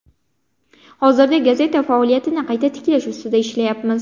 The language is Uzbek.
Hozirda gazeta faoliyatini qayta tiklash ustida ishlayapmiz.